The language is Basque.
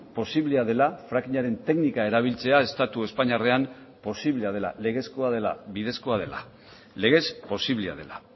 posiblea dela frackingaren teknika erabiltzea estatu espainiarrean posiblea dela legezkoa dela bidezkoa dela legez posiblea dela